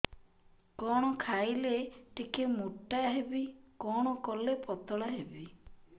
କଣ ଖାଇଲେ ଟିକେ ମୁଟା ହେବି କଣ କଲେ ପତଳା ହେବି